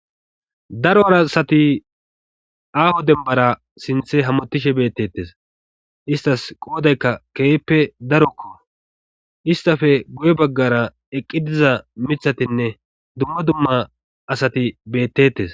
darora asati aaho dembara sinthe hamutishe bettettes istas qoodaykka keehppe darokko istafe guye baggara eqqi diza mithatinne dumma dumma asati beettettes